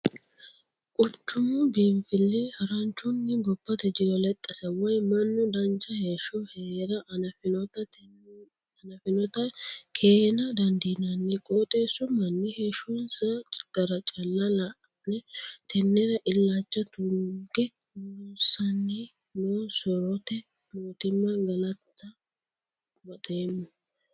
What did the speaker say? Quchumu biinfili haranchunni gobbate jiro lexxase woyi mannu dancha heeshsho heera hanafinotta keena dandiinanni qooxxeesu manni heeshshonsa gara calla la'ne, tenera illacha tuge loossanni no soorote mootimma galatta baxeemmo.